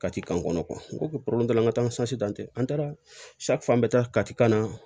Kati k'an kɔnɔ n ko ko n ka tɛ an taara fan bɛɛ taa kan na